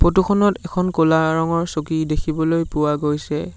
ফটোখনত এখন ক'লা ৰঙৰ চকী দেখিবলৈ পোৱা গৈছে।